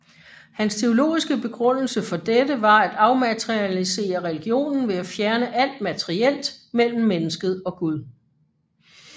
Hans teologiske begrundelse for dette var at afmaterialisere religionen ved at fjerne alt materielt mellem mennesket og Gud